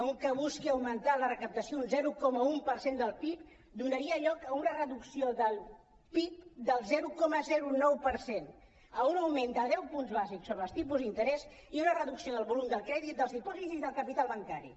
un que busqui augmentar la recaptació un zero coma un per cent del pib donaria lloc a una reducció del pib del zero coma nou per cent a un augment de deu punts bàsics sobre els tipus d’interès i a una reducció del volum del crèdit dels dipòsits i del capital bancari